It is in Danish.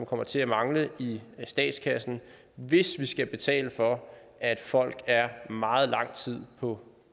kommer til at mangle i statskassen hvis vi skal betale for at folk er meget lang tid på